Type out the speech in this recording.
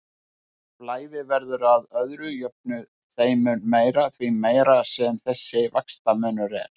Flæðið verður að öðru jöfnu þeim mun meira, því meiri sem þessi vaxtamunur er.